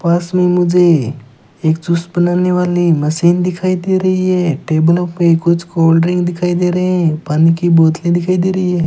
पास में मुझे एक जूस बनाने वाली मशीन दिखाई दे रही है टेबलों पे कुछ कोल्ड ड्रिंक दिखाई दे रहे हैं पानी की बोतले दिखाई दे रही है।